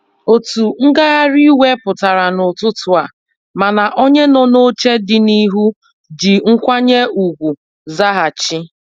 Otu ngagharị iwe pụtara n'ụtụtụ a, mana onye nọ n'oche dị n'ihu ji nkwanye ugwu zaghachi.